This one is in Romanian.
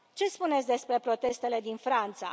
Ce spuneți despre protestele din Franța?